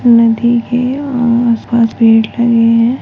नदी के आस-पास पेड़ लगे है।